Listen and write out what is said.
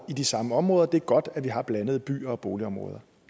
i de samme områder og det er godt at vi har blandede byer og boligområder